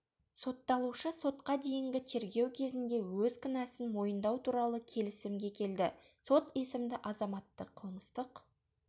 сотталушы сотқа дейінгі тергеу кезінде өз кінәсін мойындау туралы келісімге келді сот есімді азаматты қылмыстық